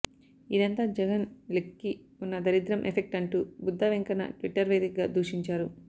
ఇదంతా జగన్ లెగ్కి ఉన్న దరిద్రం ఎఫెక్ట్ అంటూ బుద్దా వెంకన్న ట్విట్టర్ వేదికగా దూషించారు